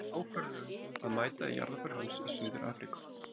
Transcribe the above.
Ég tók ákvörðun um að mæta í jarðarför hans í Suður-Afríku.